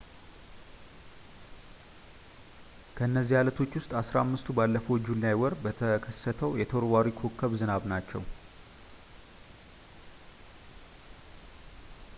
ከእነዚህ ዓለቶች ውስጥ አሥራ አምስቱ ባለፈው ጁላይ ወር ከተከሰተው የተወርዋሪ ኮከቦች ዝናብ ናቸው